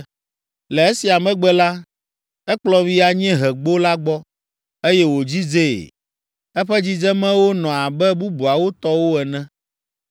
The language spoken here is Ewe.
Le esia megbe la, ekplɔm yi anyiehegbo la gbɔ, eye wòdzidzee. Eƒe dzidzemewo nɔ abe bubuawo tɔwo ene,